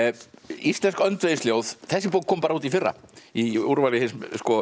íslensk þessi bók kom bara út í fyrra í úrvali hins